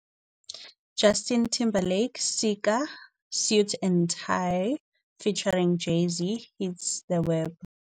"Justin Timberlake sika 'Suit and Tie' Featuring Jay-Z Hits The Web".